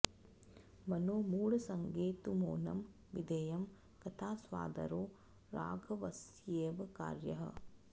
मनो मूढसङ्गे तु मौनं विधेयं कथास्वादरो राघवस्यैव कार्यः